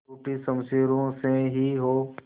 टूटी शमशीरों से ही हो